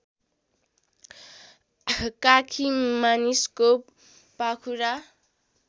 काखी मानिसको पाखुरा